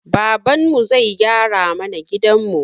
Babanmu zai gyara mana gidanmu